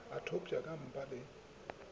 o thopša ka mpa le